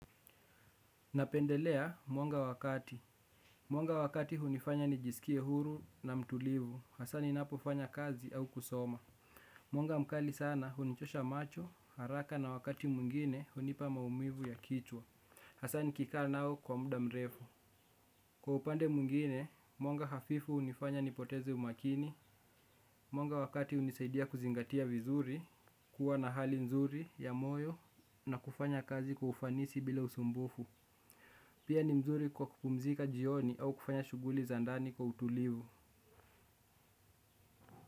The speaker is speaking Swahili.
Napendelea mwanga wa kati. Mwanga wa kati hunifanya nijisikie huru na mtulivu. Hasa ninapofanya kazi au kusoma. Mwanga mkali sana hunichosha macho, haraka na wakati mwingine hunipa maumivu ya kichwa. Hasa nikikaa nao kwa muda mrefu. Kwa upande mwingine, mwanga hafifu hunifanya nipoteze umakini. Mwanga wa kati hunisaidia kuzingatia vizuri. Kuwa na hali nzuri, ya moyo na kufanya kazi kwa ufanisi bila usumbufu. Pia ni mzuri kwa kupumzika jioni au kufanya shughuli za ndani kwa utulivu.